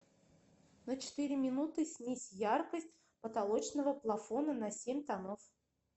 на четыре минуты снизь яркость потолочного плафона на семь тонов